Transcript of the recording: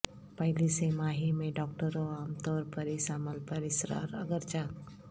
پہلی سہ ماہی میں ڈاکٹروں عام طور پر اس عمل پر اصرار اگرچہ